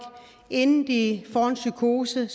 inden de får en psykose